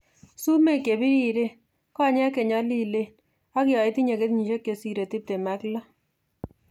Sumek chebiriren, konyek chenyolilen ak yoitinye kenyisiek chesire tiptem ak loo